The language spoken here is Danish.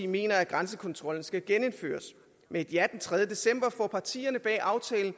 mener at grænsekontrollen skal genindføres med et ja den tredje december får partierne bag aftalen